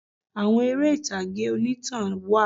Àwọn eré ìtàgé onítàn wà